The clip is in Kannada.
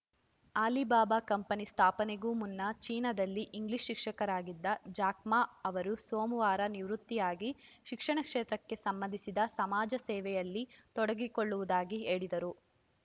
ಅಲಿಬಾಬಾ ಕಂಪನಿ ಸ್ಥಾಪನೆಗೂ ಮುನ್ನ ಚೀನಾದಲ್ಲಿ ಇಂಗ್ಲಿಷ್‌ ಶಿಕ್ಷಕರಾಗಿದ್ದ ಜಾಕ್‌ ಮಾ ಅವರು ಸೋಮವಾರ ನಿವೃತ್ತಿಯಾಗಿ ಶಿಕ್ಷಣ ಕ್ಷೇತ್ರಕ್ಕೆ ಸಂಬಂಧಿಸಿದ ಸಮಾಜ ಸೇವೆಯಲ್ಲಿ ತೊಡಗಿಸಿಕೊಳ್ಳುವುದಾಗಿ ಹೇಳಿದರು